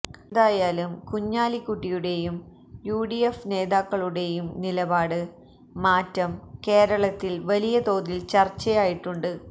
എന്തായാലും കുഞ്ഞാലിക്കുട്ടിയുടേയും യുഡിഎഫ് നേതാക്കളുടേയും നിലപാട് മാറ്റം കേരളത്തില് വലിയ തോതില് ചര്ച്ചയായിട്ടുണ്ട്